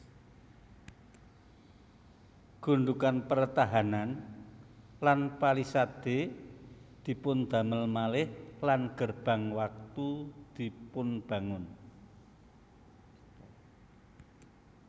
Gundukan pertahanan lan palisade dipundamel malih lan gerbang watu dipunbangun